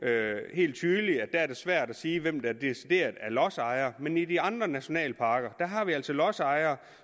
helt tydeligt er svært at sige hvem der decideret er lodsejere men i de andre nationalparker har vi altså lodsejere